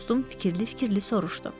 Dostum fikirli-fikirli soruşdu.